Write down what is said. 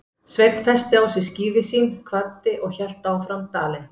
Sveinn festi á sig skíði sín, kvaddi og hélt fram dalinn.